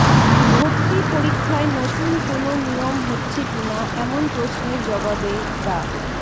ভর্তি পরীক্ষায় নতুন কোনো নিয়ম হচ্ছে কিনা এমন প্রশ্নের জবাবে ডা